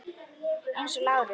Eins og Lárus.